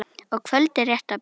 og kvöldið rétt að byrja!